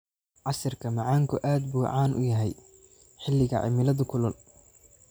Casiirka macaanku aad buu caan u yahay xilliga cimilada kulul.